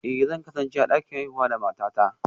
Eh, zan kasance a dakin haihuwa da matata